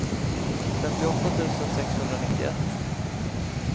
femtioåtta tusen sexhundranittioett